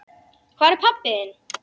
Hvar er pabbi þinn?